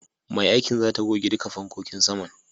Mai aikin zata goge duka fankokin saman.